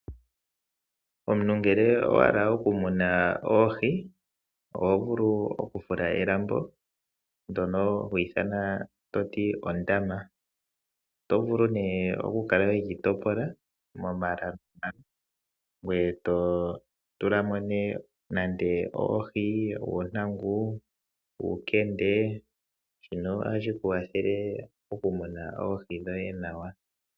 Omuntu ngele owa hala okumuna oohi, oho vulu oku fula elambo, ndyono hali ithanwa ondama. Oto vulu nduno oku kala we li topola momala ngweye to tula mo nee nande oohi, uuntangu, uukende, shino ohashi ku wathele oku muna oohi dhoye nawa.